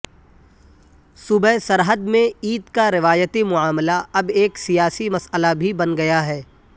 صوبہ سرحد میں عید کا روایتی معاملہ اب ایک سیاسی مسئلہ بھی بن گیا ہے